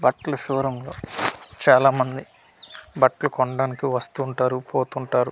బట్లు show room లో చాలామంది బట్లు కొండానికి వస్తుంటారు పోతుంటారు.